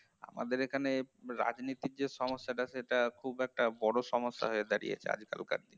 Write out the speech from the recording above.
আমাদের এখানে রাজনীতি যে সমস্যাটা সেটা খুব একটা বড় সমস্যা হয়ে দাঁড়িয়েছে আজকালকার দিনে